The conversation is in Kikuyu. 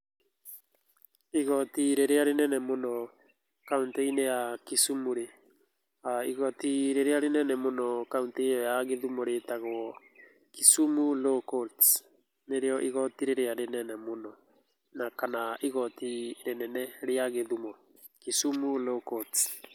Igoti rĩrĩa rĩnene mũno kauntĩ-inĩ ya Kisumu-rĩ, igoti rĩrĩa rĩnene mũno kauntĩ ĩyo ya Githumo rĩitagwo Kisumu Law Courts, nĩrĩo igoti rĩrĩa rĩnene mũno, na kana igoti rĩnene rĩa Gĩthumo, Kisumu Law Courts.